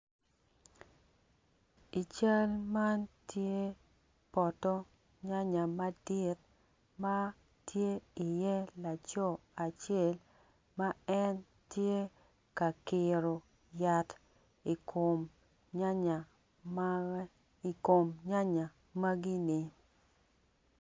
Ical man tye poto nyanya madit matye i ye laco acel ma en tye ka kiro yat i kom nyanya ma i kom nyanya magini.